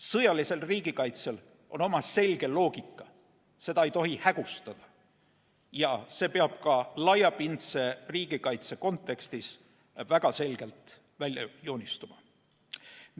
Sõjalisel riigikaitsel on oma selge loogika, seda ei tohi hägustada ja see peab ka laiapindse riigikaitse kontekstis väga selgelt välja joonistuma.